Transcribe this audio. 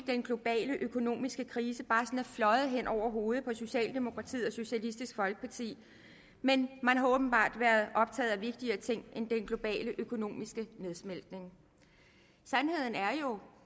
den globale økonomiske krise bare er fløjet hen over hovedet på socialdemokratiet og socialistisk folkeparti men man har åbenbart været optaget af vigtigere ting end den globale økonomiske nedsmeltning sandheden er jo